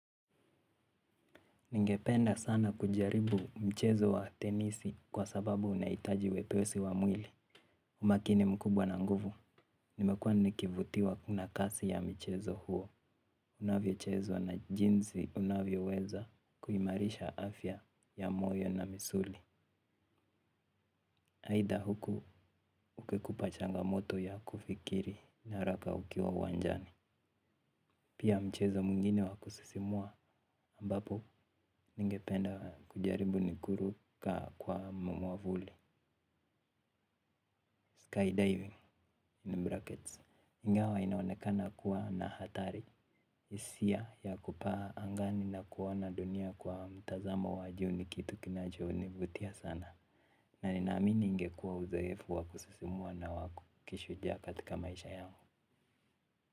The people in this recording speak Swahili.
Ningependa sana kujaribu mchezo wa tenisi kwa sababu unahitaji wepesi wa mwili. Umakini mkubwa na nguvu, nimekuwa nikivutiwa na kasi ya mchezo huo. Unavyochezwa na jinsi unavyoweza kuimarisha afya ya moyo na misuli. Haida huku ukipata changamoto moto ya kufikiri haraka ukiwa uwanjani. Pia, mchezo mwingine wa kusisimua ambapo ningependa kujaribu ni kuruka kwa mwavuli. Skydiving, ingawa inaonekana kuwa na hatari, hisia ya kupaa angani na kuona dunia kwa mtazamo wa juu ni kitu kinachonivutia sana, na ninaamini ingekuwa uzoefu wa kusisimua na wa kishujaa katika maisha yangu.